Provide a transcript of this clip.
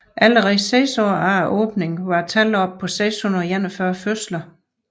Allerede seks år efter åbningen var tallet oppe på 641 fødsler